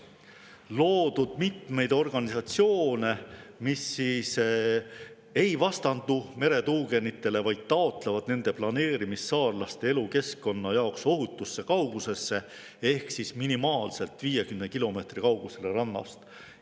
… loodud mitmeid organisatsioone, mis ei vastandu meretuugenitele, vaid taotlevad nende planeerimist saarlaste elukeskkonna jaoks ohutusse kaugusesse ehk minimaalselt 50 kilomeetri kaugusele rannast.